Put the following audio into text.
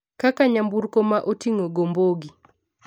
kaka nyamburko ma ting'o gombogi